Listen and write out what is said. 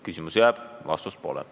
Küsimus jääb, vastust pole.